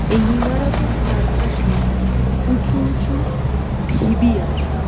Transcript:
এই ইমারতের চারপাশে উঁচু উঁচু ঢিবি আছে.